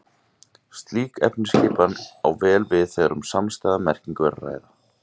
Slík efnisskipan á vel við þegar um samstæða merkingu er að ræða.